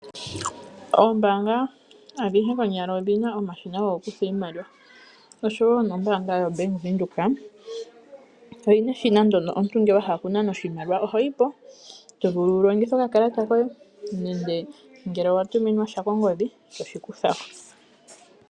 Oombaanga adhihe konyala odhina omashina go ku kutha iimaliwa, osho woo nombaanga ya Bank Windhoek, oyi na eshina nlyono omuntu ngele owa hala oku nana oshimaliwa, oho yipo tovulu wulongithe oka kalata koye, nongele owatuminwa oshimaliwa kongodhi eto shi kutha ko.